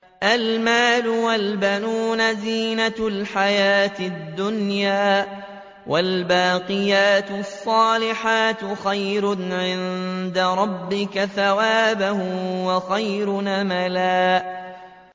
الْمَالُ وَالْبَنُونَ زِينَةُ الْحَيَاةِ الدُّنْيَا ۖ وَالْبَاقِيَاتُ الصَّالِحَاتُ خَيْرٌ عِندَ رَبِّكَ ثَوَابًا وَخَيْرٌ أَمَلًا